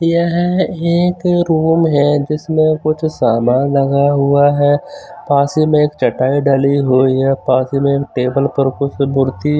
यह ये एक रोड है जिसमे कुछ सामान लगा हुआ है पास में एक छटाई डाली हुई है पास में टेबल पर कुछ मूर्ति --